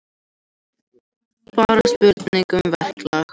Bara spurning um verklag